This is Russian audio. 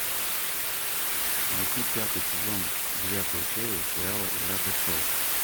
найти пятый сезон девятая серия сериала игра престолов